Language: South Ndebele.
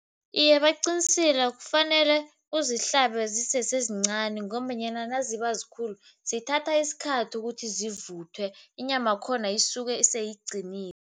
Iye, baqinisile. Kufanele uzihlanze zisesezincani ngombanyana naziba zikhulu zithatha isikhathi ukuthi zivuthwe, inyamakhona isuke seyiqinile.